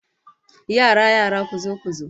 Yara yara, kuzo kuzo